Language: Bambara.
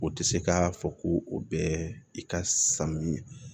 O tɛ se k'a fɔ ko o bɛɛ i ka sanni